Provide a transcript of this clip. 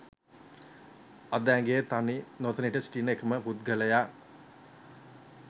අද ඇගේ තනි නොතනියට සිටින එකම පුද්ගලයා